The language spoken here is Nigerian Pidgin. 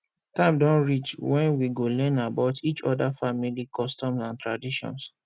time don reach wen we go learn about each oda family customs and traditions